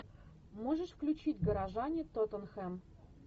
можешь включить горожане тоттенхэм